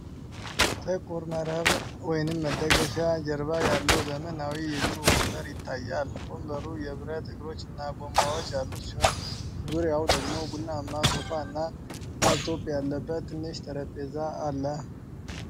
ጥቁር መረብ (መደገፊያ) ጀርባ ያለው ዘመናዊ የቢሮ ወንበር ይታያል። ወንበሩ የብረት እግሮችና ጎማዎች ያሉት ሲሆን፣ ዙሪያው ደግሞ ቡናማ ሶፋ እና ላፕቶፕ ያለበት ትንሽ ጠረጴዛ አለ።